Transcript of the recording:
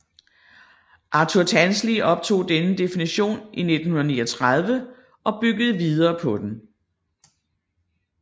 Arthur Tansley optog denne definition i 1939 og byggede videre på den